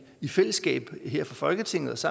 i fællesskab her fra folketingets